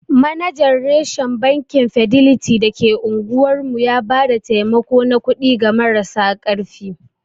Manajan reshen Bankin fideliti da ke unguwar mu ya ba da taimako na kuɗi ga marasa ƙarfi.